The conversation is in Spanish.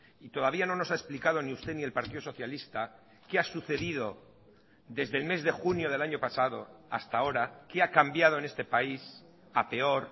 y todavía no nos ha explicado ni usted ni el partido socialista qué ha sucedido desde el mes de junio del año pasado hasta ahora qué ha cambiado en este país a peor